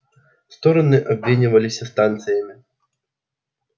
стороны обменивались станциями